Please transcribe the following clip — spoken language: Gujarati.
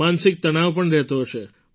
માનસિક તણાવ પણ રહેતો હશે